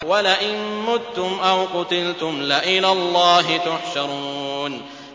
وَلَئِن مُّتُّمْ أَوْ قُتِلْتُمْ لَإِلَى اللَّهِ تُحْشَرُونَ